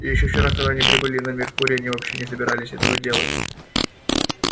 ещё вчера когда они прибыли на меркурий они вообще не собирались этого делать